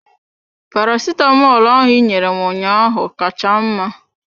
Paracetamolu ahụ ị nyere m ụnyaahụ ka cha mma.